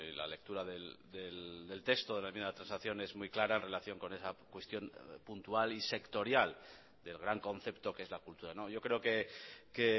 la lectura del texto de la enmienda de transacción es muy clara en relación con esa cuestión puntual y sectorial del gran concepto que es la cultura yo creo que